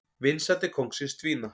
Vinsældir kóngsins dvína